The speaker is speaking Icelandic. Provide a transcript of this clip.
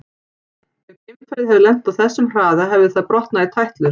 Ef geimfarið hefði lent á þessum hraða hefði það brotnað í tætlur.